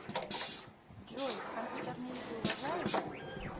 джой компьютерные игры уважаешь